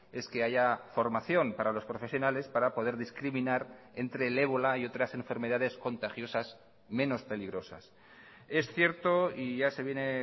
es que haya formación para los profesionales para poder discriminar entre el ébola y otras enfermedades contagiosas menos peligrosas es cierto y ya se viene